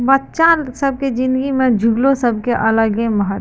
बच्चा सब के ज़िन्दगी में झूलो सब के अलगे महत --